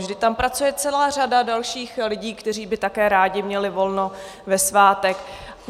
Vždyť tam pracuje celá řada dalších lidí, kteří by také rádi měli volno ve svátek.